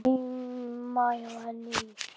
Heima hjá henni í